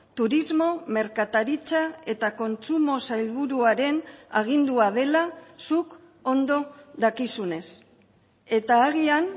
turismo merkataritza eta kontsumo sailburuaren agindua dela zuk ondo dakizunez eta agian